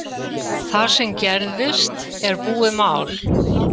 Það sem gerðist er búið mál